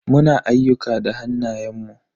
Muna ayyuka da hannayen mu.